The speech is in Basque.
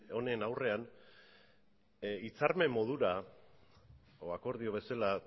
honen aurrean hitzarmen modura edo akordio bezala